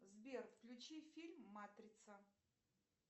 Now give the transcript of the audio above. сбер включи фильм матрица